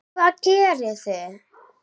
Hvað gerið þið?